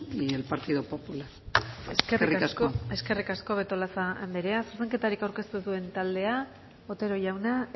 y el partido popular eskerrik asko eskerrik asko betolaza andrea zuzenketarik aurkeztu ez duen taldea otero jauna